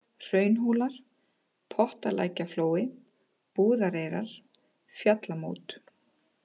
Hraunhólar, Pottalækjarflói, Búðareyrar, Fjallamót